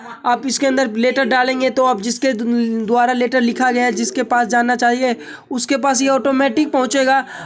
आप इसके अंदर लेटर डालेंगे तो जिसके ध्व द्वारा लेटर लिखा गया है। जिसके पास ये जाना चाहिए उसके पास ये औटोमेटिक पहुंचेगा।